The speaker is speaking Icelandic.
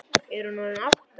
Er hún orðin átta?